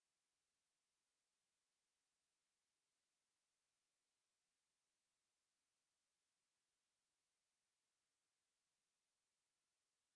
Mrlakova pa je na to po zaslišanju odgovorila, da naj jo toži, če misli, da jo mora.